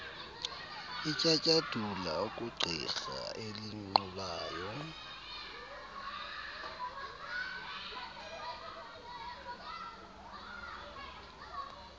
etyatyadula okwegqirha elinqulayo